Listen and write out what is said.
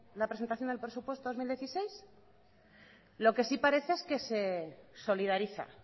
la presentación del presupuesto dos mil dieciséis lo que sí parece es que se solidariza